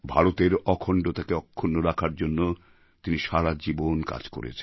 ভারতের অখণ্ডতাকে অক্ষুণ্ণ রাখার জন্য তিনি সারা জীবন কাজ করেছেন